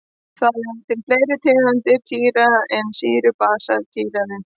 Það eru til fleiri tegundir títrana en sýru-basa títranir.